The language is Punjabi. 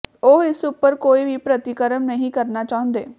ਉਹ ਇਸ ਉੱਪਰ ਕੋਈ ਵੀ ਪ੍ਰਤੀਕਰਮ ਨਹੀਂ ਕਰਨਾ ਚਾਹੁੰਦੇ